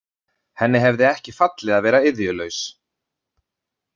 Henni hefði ekki fallið að vera iðjulaus.